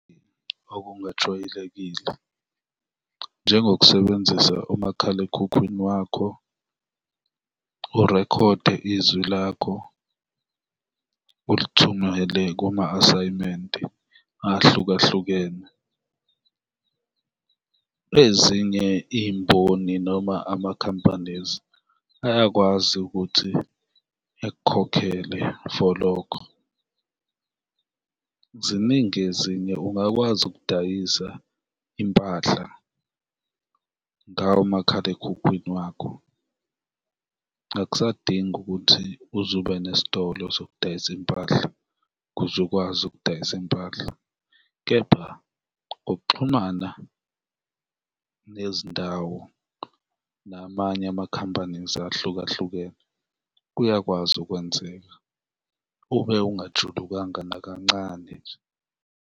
Okungajwayelekile, njengokusebenzisa umakhalekhukhwini wakho, urekhode izwi lakho ulithumele kuma asayimenti ahlukahlukene, ezinye iy'mboni noma ama-companies ayakwazi ukuthi ekukhokhele for lokho. Ziningi ezinye, ungakwazi ukudayisa impahla ngawo umakhalekhukhwini wakho, akusadingi ukuthi uze ube nesitolo sokudayisa impahla ukuze ukwazi ukudayisa impahla kepha ukuxhumana nezindawo namanye ama-companies ahlukahlukene kuyakwazi ukwenzeka ube ungajulukanga nakancane nje.